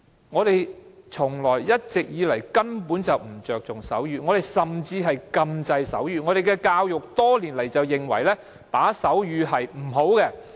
我們根本從不注重手語，甚至禁制手語，我們的教育多年來都認為打手語是不好的。